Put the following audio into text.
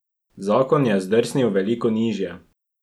Zakon je zdrsnil veliko nižje.